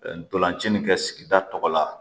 Ntolanci nin kɛ sigida tɔgɔ la